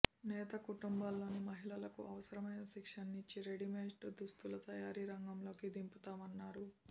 నేత కుటుంబాల్లోని మహిళలకు అవసరమైన శిక్షణనిచ్చి రెడీమేడ్ దుస్తుల తయారీ రంగంలోకి దింపుతామన్నారు